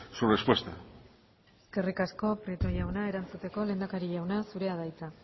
su respuesta eskerrik asko prieto jauna erantzuteko lehendakari jauna zurea da hitza